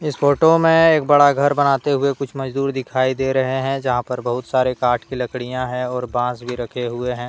इस फोटो में एक बड़ा घर बनाते हुए कुछ मजदूर दिखाई दे रहे हैं यहां पर बहुत सारे काठ की लकड़ियां हैं और बांस भी रखे हुए हैं।